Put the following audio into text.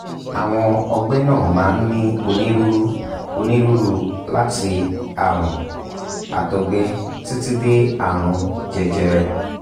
àwọn ọgbẹ́ náà máa ń ní onírúurú onírúurú láti àrùn àtọ̀gbẹ títí dé àrùn jẹjẹrẹ